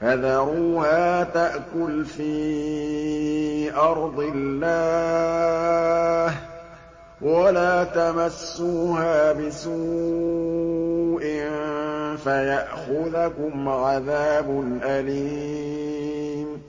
فَذَرُوهَا تَأْكُلْ فِي أَرْضِ اللَّهِ ۖ وَلَا تَمَسُّوهَا بِسُوءٍ فَيَأْخُذَكُمْ عَذَابٌ أَلِيمٌ